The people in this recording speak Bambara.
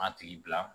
A tigi bila